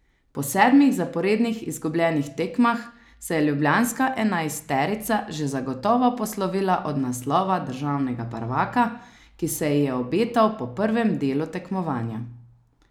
Po sedmih zaporednih izgubljenih tekmah se je ljubljanska enajsterica že zagotovo poslovila od naslova državnega prvaka, ki se ji je obetal po prvem delu tekmovanja.